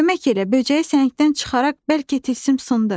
Kömək elə böcəyi səhəngdən çıxaraq bəlkə tilsim sındı.